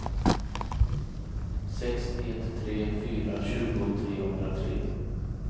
sex ett tre fyra tjugo trehundratre